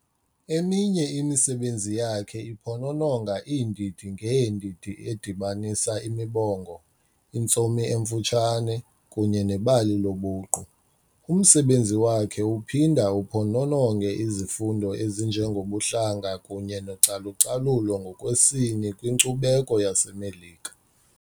Eminye imisebenzi yakhe iphonononga iindidi ngeendidi, edibanisa imibongo, intsomi emfutshane, kunye nebali lobuqu. Umsebenzi wakhe uphinda uphonononge izifundo ezinjengobuhlanga kunye nocalucalulo ngokwesini kwinkcubeko yaseMelika.